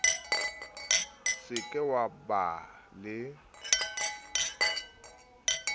se ke wa ba le